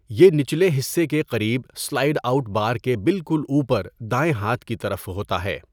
یہ نیچلے حصے کے قریب اسلائیڈ آؤٹ بار کے بالکل اوپر دائیں ہاتھ کی طرف ہوتا ہے۔